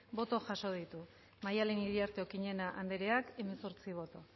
bai hemezortzi bai hogei